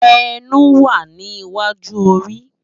Ènú wá ni iwájú óri